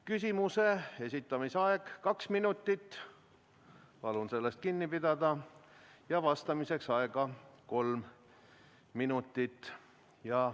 Küsimuse esitamise aeg on kaks minutit – palun sellest kinni pidada – ja vastamiseks on aega kolm minutit.